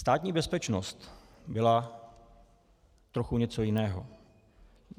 Státní bezpečnost byla trochu něco jiného.